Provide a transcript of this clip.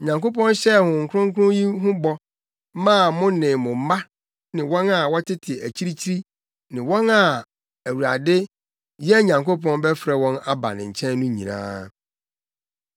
Onyankopɔn hyɛɛ Honhom Kronkron yi ho bɔ maa mo ne mo mma ne wɔn a wɔtete akyirikyiri ne wɔn a Awurade, yɛn Nyankopɔn bɛfrɛ wɔn aba ne nkyɛn no nyinaa.”